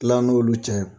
Kila n'olu cɛ ye